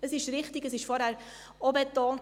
Es ist richtig, es wurde vorhin auch betont: